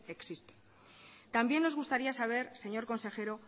existen también nos gustaría saber señor consejero